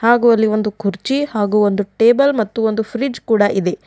ಹಾಗೂ ಅಲ್ಲಿ ಒಂದು ಕುರ್ಚಿ ಹಾಗೂ ಒಂದು ಟೇಬಲ್ ಮತ್ತು ಒಂದು ಫ್ರಿಜ್ ಕೂಡ ಇದೆ.